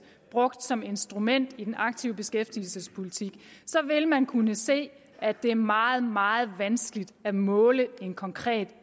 brugt som instrument i den aktive beskæftigelsespolitik vil man kunne se at det er meget meget vanskeligt at måle en konkret